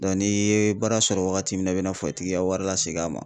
n'i ye baara sɔrɔ wagati min na i bɛna ka wari lasegin a ma.